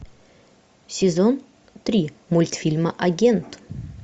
сезон три мультфильма агент